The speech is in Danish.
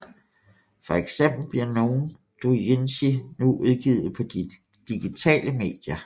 For eksempel bliver nogle doujinshi nu udgivet på digitale medier